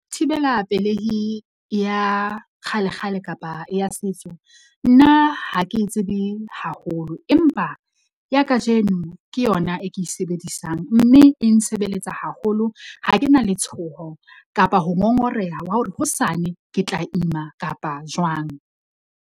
Thibela pelehi ya kgalekgale kapa ya setso. Nna ha ke e tsebe haholo, empa ya kajeno ke yona e ke e sebedisang mme e nsebeletsa haholo. Ha ke na letshoho kapa ho ngongoreha wa hore hosane ke tla ima kapa jwang.